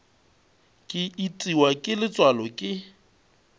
ke itiwa ke letswalo ke